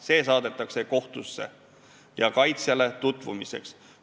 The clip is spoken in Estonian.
See saadetakse kohtusse ja kaitsjale tutvumiseks.